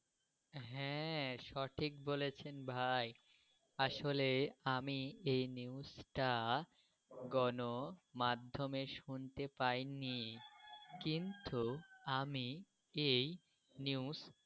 হ্যাঁ সঠিক বলেছেন ভাই। আসলে আমি এই news টা গণ মাধ্যমে শুনতে পাইনি কিন্তু আমি এই news.